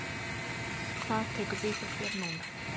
Hvað tekur við hjá þér núna?